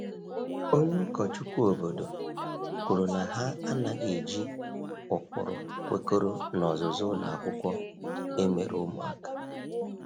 Onye ụkọchukwu obodo kwuru na ha anaghị eji ụkpụrụ kwekọrọ n’ọzụzụ ụlọ akwụkwọ emere ụmụaka.